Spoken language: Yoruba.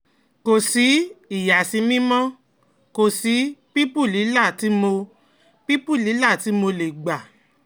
Kò sí ìyàsímímímọ́, kò sí pípùlílà tí mo pípùlílà tí mo lè gbà